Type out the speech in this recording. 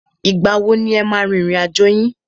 Ìgbà wo ni e máa a rin ìrìn àjò yín?